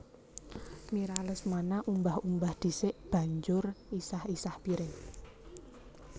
Mira Lesmana umbah umbah dhisik banjur isah isah piring